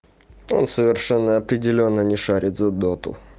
он совершенно определённо не шарит за доту